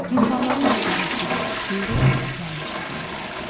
İnsanların əqidəsi də, şüuru da köhnəlmişdi bu yerlərdə.